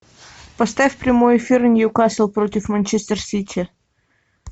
поставь прямой эфир ньюкасл против манчестер сити